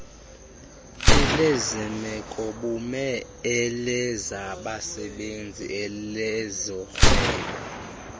elezemekobume elezabasebenzi elezorhwebo